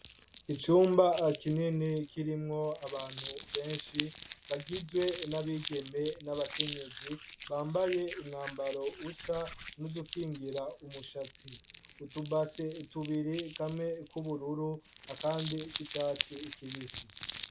Icumba kinini kirimwo abantu benshi bagizwe n'abigeme n'abakenyezi bambaye umwambaro usa n'udukingira umushatsi, utubase tubiri kamwe k'ubururu akandi k'icatsi kibisi.